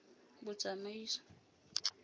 botsamaisi